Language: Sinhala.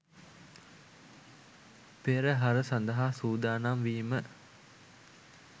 පෙරහර සඳහා සූදානම් වීම